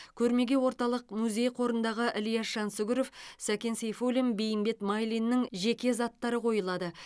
көрмеге орталық музей қорындағы ілияс жансүгіров сәкен сейфуллин бейімбет майлиннің жеке заттары қойылады